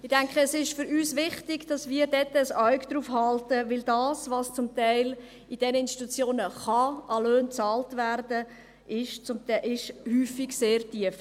Ich denke, es ist für uns wichtig, dass wir dort ein Auge darauf halten, denn das, was zum Teil in diesen Institutionen an Löhnen bezahlt werden kann, ist häufig sehr tief.